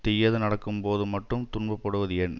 தீயது நடக்கும்போது மட்டும் துன்பப்படுவது ஏன்